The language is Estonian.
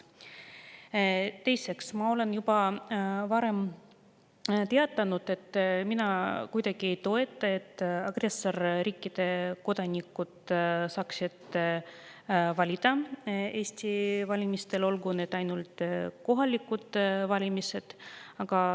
Teiseks, ma olen juba varem teatanud, et mina kuidagi ei toeta seda, et agressorriikide kodanikud saaksid valida Eesti valimistel, olgugi need ainult kohalikud valimised.